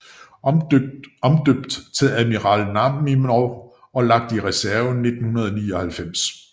Omdøbt til Admiral Nakhimov og lagt i reserve i 1999